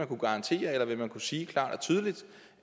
kunne garantere eller vil man kunne sige klart og tydeligt